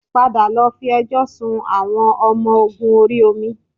Padà lọ fi ẹjọ́ sun àwọn ọmọ ogun orí omi